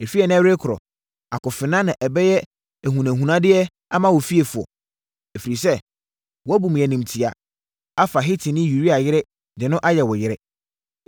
Ɛfiri ɛnnɛ rekorɔ, akofena na ɛbɛyɛ ahunahunadeɛ ama wo fiefoɔ, ɛfiri sɛ, woabu me animtia, afa Hetini Uria yere de no ayɛ wo yere.’